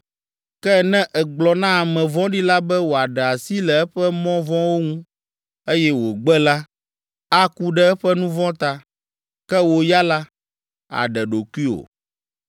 Ke ne ègblɔ na ame vɔ̃ɖi la be wòaɖe asi le eƒe mɔ vɔ̃wo ŋu, eye wògbe la, aku ɖe eƒe nu vɔ̃ ta, ke wò ya la, àɖe ɖokuiwò.